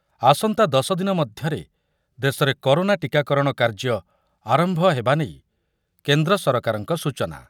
ଆସନ୍ତା ଦଶ ଦିନ ମଧ୍ୟରେ ଦେଶରେ କରୋନା ଟୀକାକରଣ କାର୍ଯ୍ୟ ଆରମ୍ଭ ହେବା ନେଇ କେନ୍ଦ୍ର ସରକାରଙ୍କ ସୂଚନା ।